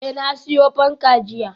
Eh, na siyo fanka jiya